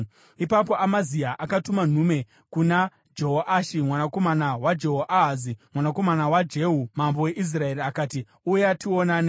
Ipapo Amazia akatuma nhume kuna Jehoashi mwanakomana waJehoahazi, mwanakomana waJehu, mambo weIsraeri, akati, “Uya tionane.”